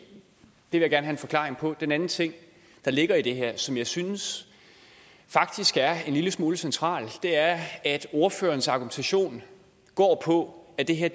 vil jeg gerne have en forklaring på den anden ting der ligger i det her og som jeg faktisk synes er en lille smule centralt er at ordførerens argumentation går på at det her